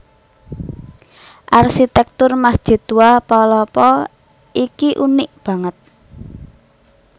Arsitèktur Masjid Tua Palopo iki unik banget